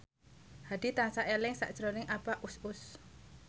Hadi tansah eling sakjroning Abah Us Us